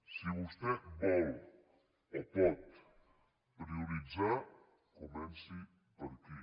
si vostè vol o pot prioritzar comenci per aquí